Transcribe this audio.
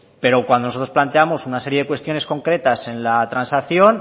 pero cuando nosotros planteamos una serie de cuestiones concretas en la transacción